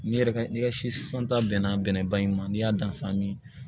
N'i yɛrɛ n'i ka si san ta bɛnna bɛnɛ bali ma n'i y'a dan san min